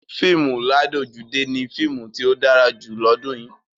Fíìmù ládojúdé ni fíìmù tí ó dára jù lọ́dún yìí.